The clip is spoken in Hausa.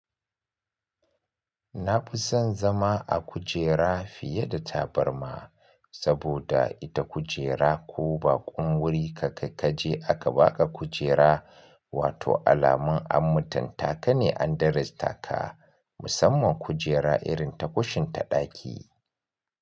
Na fi son zama a kujera fiye da tabarma saboda ita kujera ko bakon wurin ka kaje aka baka kujera, wato alamun an mutuntaka ne an darajtaka ka. Musamman kujera irin ta kushin ta daki.